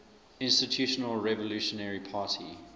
institutional revolutionary party